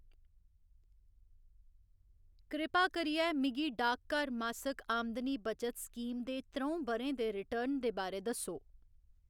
कृपा करियै मिगी डाकघर मासिक आमदनी बचत स्कीम दे त्र'ऊं ब'रें दे रिटर्न दे बारै दस्सो।